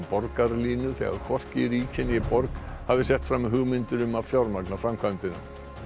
borgarlínu þegar hvorki ríki né borg hafi sett fram hugmyndir um að fjármagna framkvæmdina